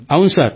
అవును సార్